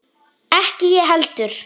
Ekki ég heldur!